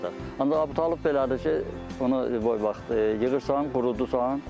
Ancaq Əbutalıb elədir ki, bunu istənilən vaxtı yığırsan, qurudursan.